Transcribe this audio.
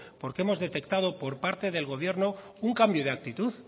porque hemos detectado por parte del gobierno un cambio de actitud